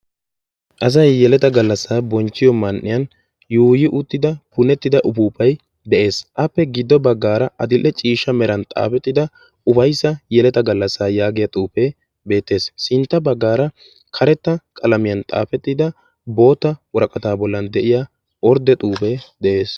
asay yeleta galasaa bonchiyo sohuwan yuuyi utida upuupay de'ees, giduwan qassi adil'e ciisha meran xaafetida xufee beetees, kareta qalamiyan xaafettida boota woraqatan xaafetida xuufee beetees.